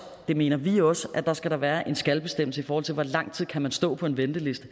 mener vi også at der skal være en skal bestemmelse i forhold til hvor lang tid man kan stå på en venteliste